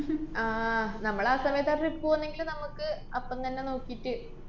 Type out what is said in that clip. ആഹ് നമ്മളാ സമയത്താ trip പോവുന്നേങ്കില് നമക്ക് അപ്പം തന്നെ നോക്കീട്ട്